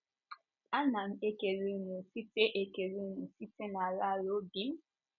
Ana m ekele ụnụ site ekele ụnụ site n’ala ala obi m!.